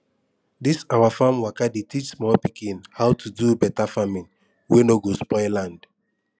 this our farm waka dey teach small pikin how to do better farming wey no go spoil land